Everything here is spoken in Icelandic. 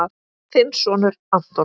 Þinn sonur, Anton.